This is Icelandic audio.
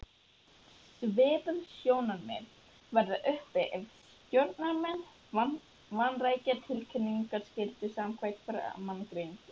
Svipuð sjónarmið verða uppi ef stjórnarmenn vanrækja tilkynningarskyldu samkvæmt framangreindu.